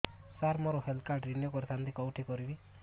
ସାର ମୋର health card renew କରିଥାନ୍ତି କେଉଁଠି କରିବି